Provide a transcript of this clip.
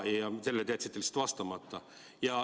Sellele te jätsite lihtsalt vastamata.